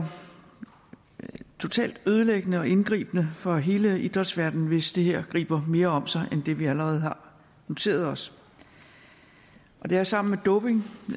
totalt ødelæggende og indgribende for hele idrætsverdenen hvis det her griber mere om sig end det vi allerede har noteret os det er sammen med doping